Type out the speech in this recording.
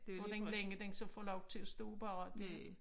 Hvor den længe den så får lov til at stå bare det